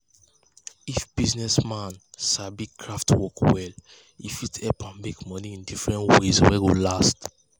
if business man sabi craft work well e fit help am make money in different ways wey go last